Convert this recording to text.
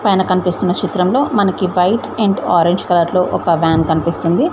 పైన కన్పిస్తున్న చిత్రం లో మనకి వైట్ అండ్ ఆరెంజ్ కలర్ లో ఒక వ్యాన్ కనిపిస్తోంది.